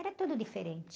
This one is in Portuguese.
Era tudo diferente.